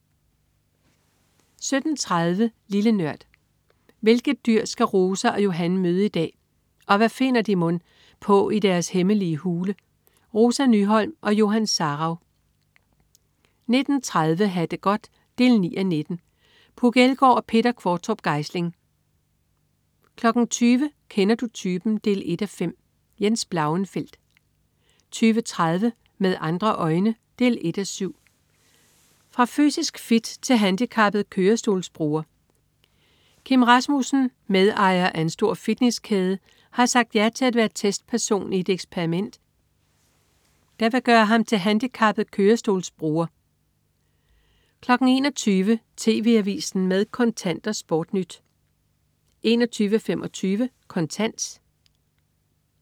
17.30 Lille Nørd. Hvilket dyr skal Rosa og Johan møde i dag, og hvad finder de mon på i deres hemmelige hule? Rosa Nyholm og Johan Sarauw 19.30 Ha' det godt 9:19. Puk Elgård og Peter Qvortrup Geisling 20.00 Kender du typen? 1:5. Jens Blauenfeldt 20.30 Med andre øjne 1:7. Fra fysisk fit til handicappet kørestolsbruger. Kim Rasmussen, medejer af en stor fitnesskæde, har sagt ja til at være testperson i et eksperiment, der vil gøre ham til handicappet kørestolsbruger 21.00 TV AVISEN med Kontant og SportNyt 21.25 Kontant